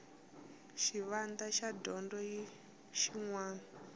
xivandla xa dyondzo xin wana